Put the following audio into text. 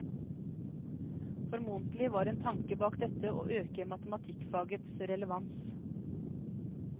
Formodentlig var en tanke bak dette å øke matematikkfagets relevans.